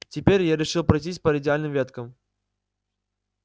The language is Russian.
теперь я решил пройтись по радиальным веткам